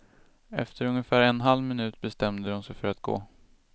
Efter ungefär en halv minut bestämde de sig för att gå.